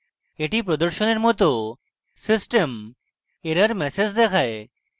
the প্রদর্শনের মত system error message দেখায়